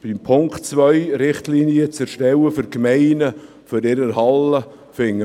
Beim Punkt 2 geht es darum, für die Gemeinden Richtlinien für ihre Hallen zu erstellen.